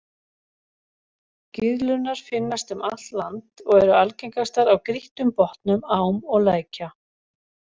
Gyðlurnar finnast um allt land og eru algengastar á grýttum botnum ám og lækja.